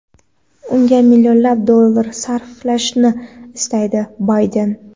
unga millionlab dollar sarflashini istaydi - Bayden.